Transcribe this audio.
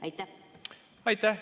Aitäh!